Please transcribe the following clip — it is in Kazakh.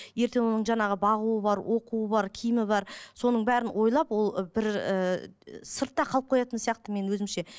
ертең оның жаңағы бағуы бар оқуы бар киімі бар соның бәрін ойлап ол бір ііі сыртта қалып қоятын сияқты менің өзімше